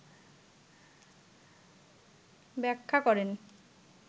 ব্যাখ্যা করেন